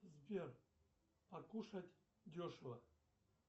сбер покушать дешево